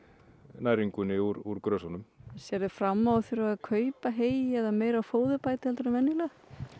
næringunni úr sérðu fram á að þurfa að kaupa hey eða meira af fóðurbæti en venjulega